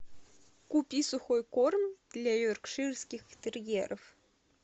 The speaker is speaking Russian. купи сухой корм для йоркширских терьеров